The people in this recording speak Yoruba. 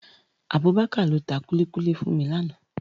Abubakar ló tá kúlikúli fún mi làná